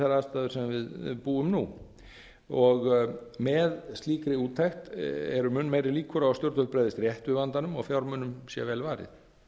við búum nú við með slíkri úttekt eru mun meiri líkur á að stjórnvöld bregðist rétt við vandanum og að fjármunum sé vel varið